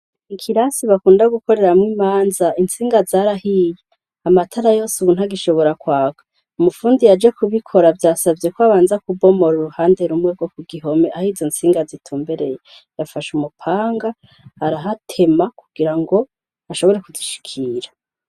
Ikirasi bakunda gukoreramwo imanza intsinga zarahiye, amatara yose ubu ntagishobora kwaka. Umufundi yaje kubikora vyasavye ko abanza kubomora uruhande rumwe rwo kugihome ah'izontsinga zitumbereye yafashe umupanga arahatema kugirango ashobore kuzishikira.